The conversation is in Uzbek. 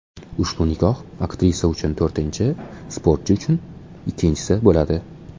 Ushbu nikoh aktrisa uchun to‘rtinchi, sportchi uchun ikkinchisi bo‘ladi.